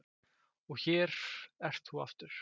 Og hér ert þú aftur.